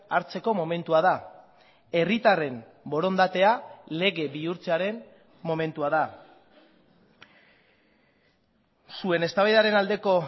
hartzeko momentua da herritarren borondatea lege bihurtzearen momentua da zuen eztabaidaren aldeko